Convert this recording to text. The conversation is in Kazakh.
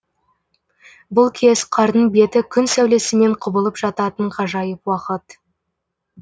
бұл кез қардың беті күн сәулесімен құбылып жататын ғажайып уақыт